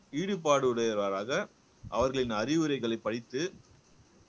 ஈடுபாடு உடையவராக அவர்களின் அறிவுரைகளைப் படித்து